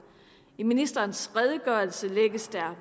i ministerens redegørelse lægges der